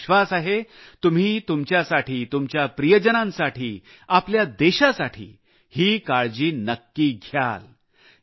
मला विश्वास आहे तुम्ही तुमच्यासाठी तुमच्या प्रियजनांसाठी आपल्या देशासाठी ही काळजी नक्की घ्याल